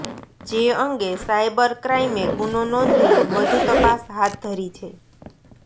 જે અંગે સાયબર ક્રાઈમે ગુનો નોંધી વધુ તપાસ હાથ ધરી છે